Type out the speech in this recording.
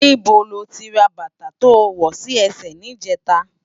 Nibó ló ti rá bata tó wò si èsè nijètá?